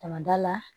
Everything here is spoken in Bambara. Ka na da la